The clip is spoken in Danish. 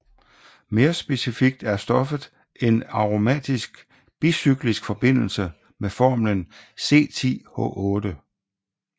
Mere specifikt er stoffet en aromatisk bicyklisk forbindelse med formlen C10H8